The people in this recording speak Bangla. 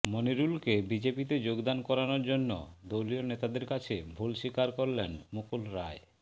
মনিরুলকে বিজেপিতে যোগদান করানোর জন্য দলীয় নেতাদের কাছে ভুল স্বীকার করলেন মুকুল রায়